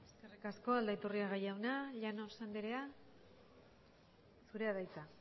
besterik ez eskerrik asko aldaiturriaga jauna llanos andrea zurea da hitza